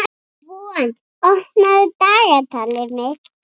Von, opnaðu dagatalið mitt.